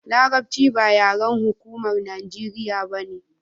larabci ba yaren hukumar najeriya bane